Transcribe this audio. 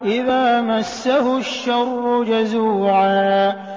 إِذَا مَسَّهُ الشَّرُّ جَزُوعًا